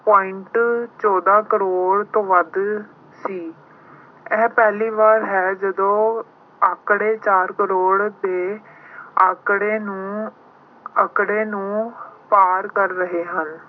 point ਚੌਦਾਂ crore ਤੋਂ ਵੱਧ ਸੀ। ਇਹ ਪਹਿਲੀ ਵਾਰ ਹੈ ਜਦੋਂ ਅੰਕੜੇ, ਚਾਰ coroe ਦੇ ਅੰਕੜੇ ਨੂੰ, ਅੰਕੜੇ ਨੂੰ ਪਾਰ ਕਰ ਰਹੇ ਹਨ।